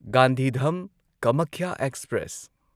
Gandhidham Kamakhya express